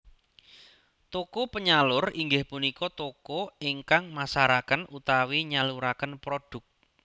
Toko penyalur inggih punika toko ingkang masaraken utawi nyaluraken prodhuk